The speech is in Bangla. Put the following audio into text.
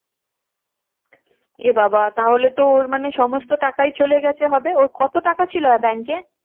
এ বাবা তাহলে তো ওর মানে সমস্ত টাকাই চলে গেছে হবে ওর কত টাকা ছিল bank এ?